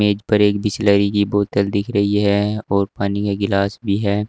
मेज पर एक बिसलेरी की बॉटल दिख रही है और पानी का गिलास भी है।